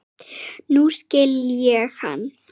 Nú skil ég hann.